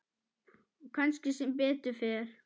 Og kannski sem betur fer.